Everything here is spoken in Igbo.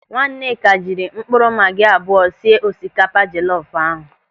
Nwaneka jiri mkpụrụ magi abụọ sie osikapa jelọfu ahụ.